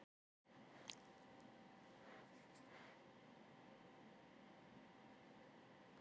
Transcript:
Hversu langt mun líða þar til þeir bera kennsl á það?